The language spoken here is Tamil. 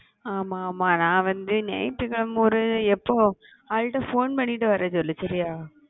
ஆமா ஆமா நான் வந்து ஞாயிற்று கிழமை ஒரு எப்போ அதுகிட்ட phone பண்ணிட்டு வர சொல்லு சரியா